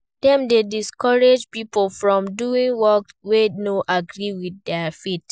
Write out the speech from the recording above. Dem de discourage pipo from doing work wey no agree with their faith